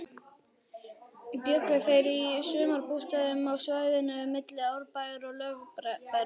Bjuggu þeir í sumarbústöðum á svæðinu milli Árbæjar og Lögbergs.